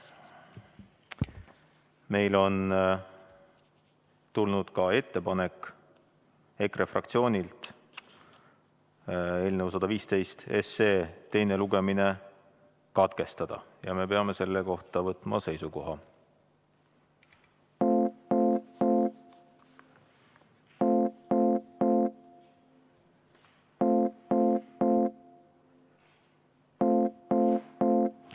Meil on tulnud EKRE fraktsioonilt ka ettepanek eelnõu 115 teine lugemine katkestada ja me peame selle kohta võtma seisukoha.